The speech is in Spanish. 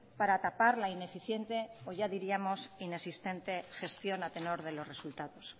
para tapar la ineficiente o ya diríamos inexistente gestión a tenor de los resultados